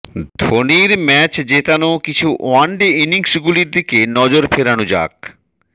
ধোনির ম্যাচ জেতানো কিছু ওয়ান ডে ইনিংসগুলির দিকে নজর ফেরানো যাক